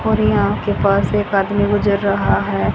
और यहां के पास एक आदमी गुजर रहा है।